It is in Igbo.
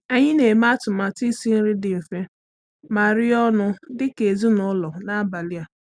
Anyị na-eme atụmatụ isi nri dị mfe ma rie ọnụ dị ka ezinụlọ n’abalị a.